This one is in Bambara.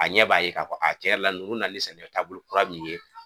A ɲɛ b'a ye k'a fɔ tiɲɛ yɛrɛ la nani ni sɛnɛkɛ taabolo kura min ye